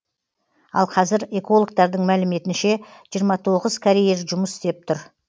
ал қазір экологтардың мәліметінше жиырма тоғыз карьер жұмыс істеп тұр